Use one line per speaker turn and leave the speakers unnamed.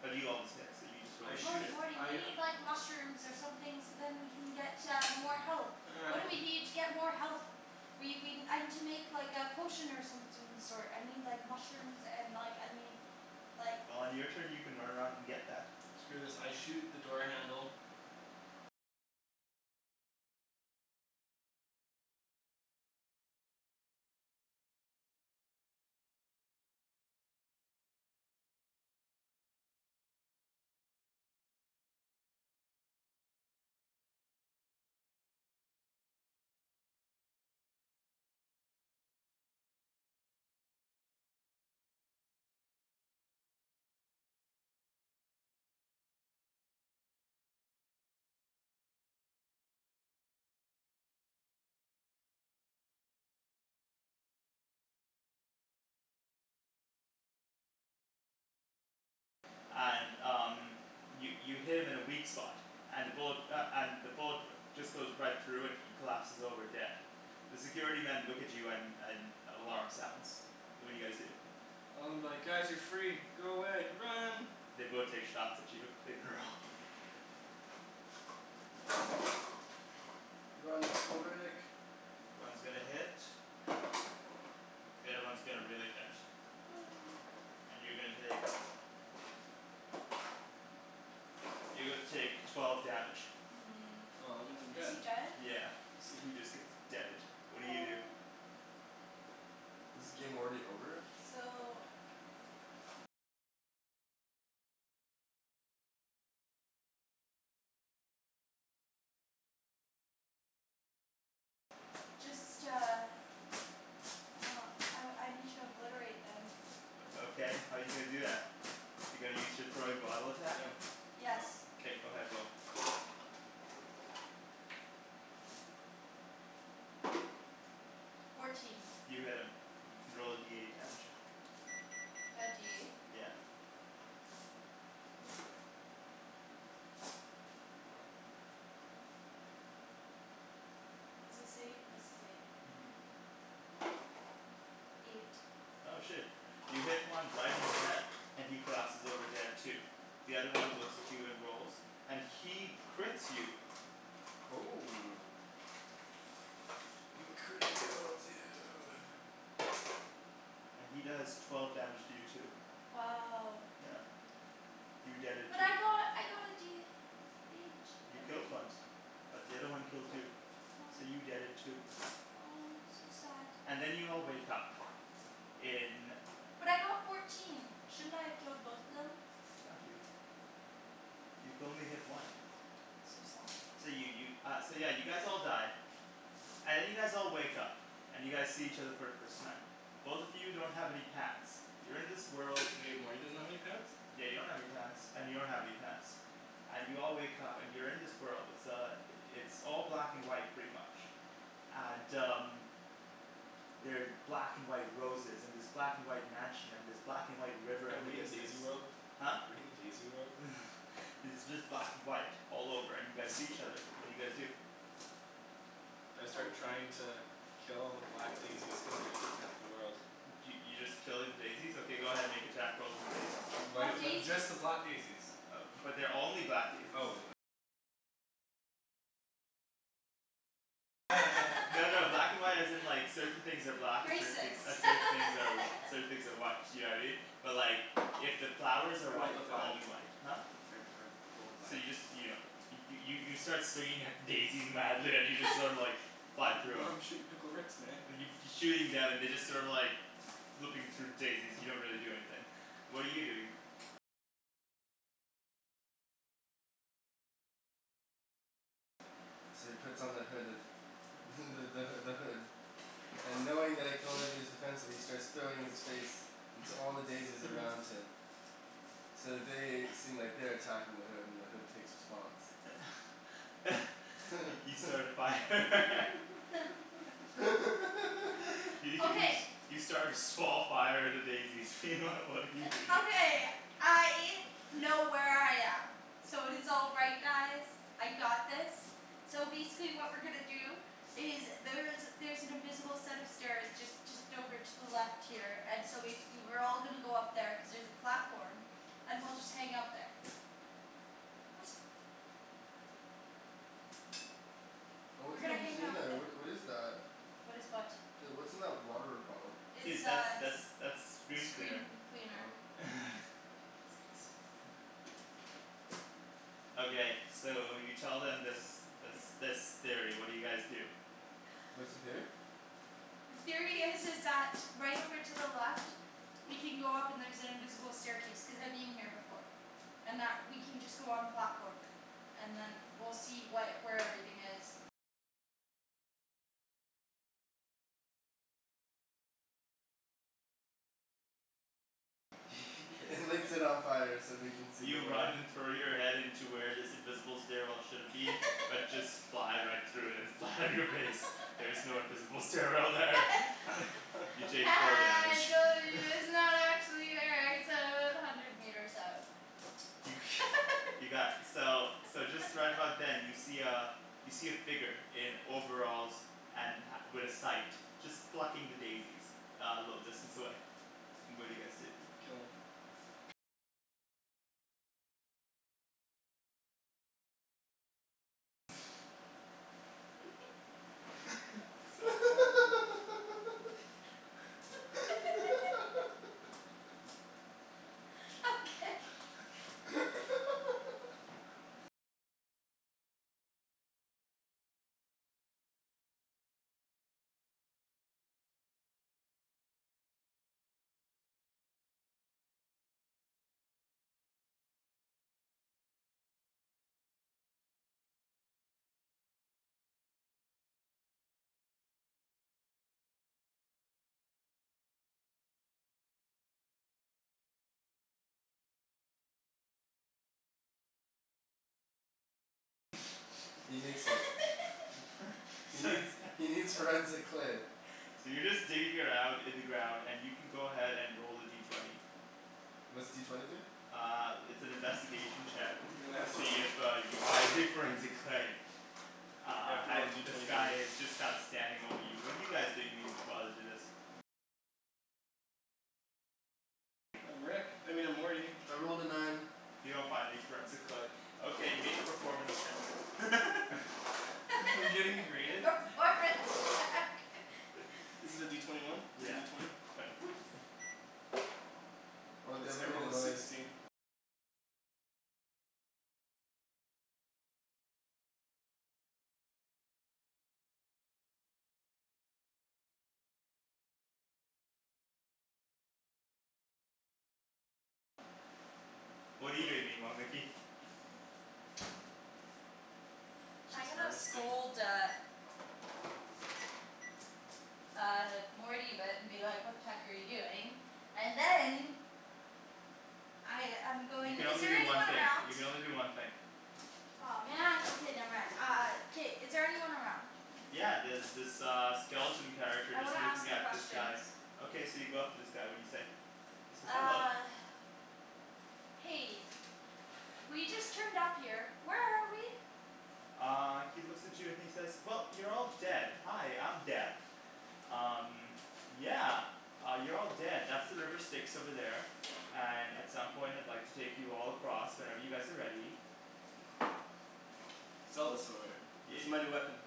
But you always hit, so you just roll a
I
D
shoot
Morty,
six.
Morty we
I
need like mushrooms or something so then we can get uh more health. What do we need to get more health? We we, I need to make like a potion or something of the sort. I need like mushrooms and like I need like
Well on your turn you can run around and get that.
Screw this, I shoot the door handle
And um, you you hit him in a weak spot, and the bullet uh and the bullet just goes right through and he collapses over dead. The security men look at you and and an alarm sounds. What do you guys do?
Well I'm like "Guys you're free. Go away. Run!"
They both take shots at you. Make a roll.
Run, Pickle Rick!
One's gonna hit. The other one's gonna really hit. And you're gonna take you're gonna take twelve damage.
Hmm,
Oh that means I'm
is he
dead.
dead?
Yeah, so he just gets deaded. What do you do?
Aw.
Is the game already over?
No,
So
no.
Um I I need to obliterate them.
O okay, how're you gonna do that? You're gonna use your throwing bottle attack?
Yes.
Somethin'
K, go ahead, roll.
Fourteen.
You hit him. You can roll a D eight damage.
The D eight?
Yeah.
Is this eight? This is eight.
Mhm.
Eight.
Oh shit. You hit one right in the head, and he collapses over dead too. The other one looks at you and rolls, and he crits you
Oh. He criticaled you!
and he does twelve damage to you too.
Wow.
Yeah. You deaded
But
too.
I got I got a D H
You
out of
killed one.
eight.
But the other one killed you. So
Aw.
you deaded too.
Oh, so sad.
And then you all wake up in
But I got fourteen, shouldn't I have killed both of them?
No dude. You could only hit one.
So sad.
So you you uh yeah so you guys all die. And then you guys all wake up, and you guys see each other for the first time. Both of you don't have any pants. You're in this world
Wait, Morty doesn't have any pants?
Yeah you don't have any pants and you don't have any pants. And you all wake up and you're in this world. It's uh it's all black and white pretty much. And um They're black and white roses and this black and white mansion and this black and white river
Are
in the
we in
distance.
Daisy World?
Huh?
We in Daisy World?
It's just black and white all over and you guys see each other. What do you guys do?
I
Um
start trying to kill all the black daisies cuz they're heatin' up the world.
Y- y- you just killing daisies? Okay go ahead, make attack rolls on the daisies.
Why
Why
do you
But just
daisies?
the black daisies.
But they're only black daisies. No no black and white as in like certain things are black and certain
Racist.
thing uh certain things are certain things are white, you know what I mean? But like if the flowers are
I rolled
white,
a
they'll all
five.
be white. Huh?
I I rolled a
So
five.
you just you don't hit 'em. You you start swinging at the daisies madly and you just sorta like fly through
Yo
'em.
I'm shootin' Pickle Ricks man.
And you f- you're shooting them and they're just sort of like flipping through daisies, they don't really do anything. What are you doing?
So he puts on the hood of the the h- the hood. And knowing that it can only be used defensively he starts throwing his face into all the daisies around him. So they seem like they're attacking the hood and the hood takes response.
You start a fire. Y- you s-
Okay.
you start a small fire at a daisy. What are you doing?
Okay, I know where I am. So it is all right guys. I got this. So basically what we're gonna do is there's there's an invisible set of stairs just just over to the left here and so basically we're all gonna go up there cuz there's a platform. And we'll just hang out there. What?
Oh what
We're
the
gonna
heck is
hang
in
out
there?
the-
What what is that? .
What is what?
The, what's in that water bottle?
It's
Dude, that's
uh
that's that's screen cleaner.
screen cleaner.
Oh.
Okay, so you tell them this this this theory, what do you guys do?
What's the theory?
The theory is is that right over to the left we can go up and there's an invisible staircase, cuz I've been here before. And that we can just go on platform and then we'll see what, where everything is.
And lights it on fire so we can see
You
the way.
run and throw your head into where this invisible stairwell should've been, but just fly right through it and land on your face. There is no invisible stairwell there. You take
Ha
four
ha
damage
I trolled you it's not actually here it's o- about hundred meters up.
You got, so so just right about then you see uh you see a figure in overalls and ha- with a sight. Just plucking the daisies a little distance away. What do you guys do?
Kill him.
So bad dude.
Okay
He nicks it. He needs he needs forensic clay.
So you're just digging around in the ground and you can go ahead and roll a D twenty.
What's D twenty do?
Uh it's an investigation check
You're gonna
to
have to ro-
see if uh you find your forensic clay.
You
Uh
have to roll
and
D
this
twenty for
guy
this.
is just kind of standing over you. What are you guys doing mean- while he's doing this?
I'm Rick. I mean I'm Morty.
I rolled a nine.
You don't find any forensic clay. Okay, make a performance check.
I'm getting rated?
Performance check
Is it a D twenty one? Or a
Yeah.
D twenty?
Twenty.
Or they
It's,
haven't
I
made a
rolled a
noise.
sixteen.
What're you doing meanwhile, Nikki?
I'm
She's
gonna
harvesting.
scold uh Uh Morty but and be like "What the heck are you doing?" And then I I'm
You
going,
can
is
only
there
do one
anyone
thing.
around?
You can only do one thing.
Aw man. Okay, never mind. Uh K, is there anyone around?
Yeah, there's this uh skeleton character
I
just
wanna ask
looking
him
at this guy.
questions.
Okay, so you go up to this guy. What do you say? He says "Hello."
Uh Hey, we just turned up here. Where are we?
Uh he looks at you and he says "Well, you're all dead. Hi, I'm Death." "Um, yeah, you're all dead. That's the river Styx over there." "And at some point I'd like to take you all across, whenever you guys are ready."
Zelda sword. This
Yeah.
is my new weapon.